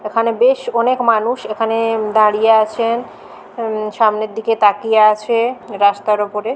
এখানে বেশ অনেক মানুষ এখানে-এ-এ দাঁড়িয়ে আছেন উম সামনের দিকে তাকিয়ে আছে-এ রাস্তার উপরে।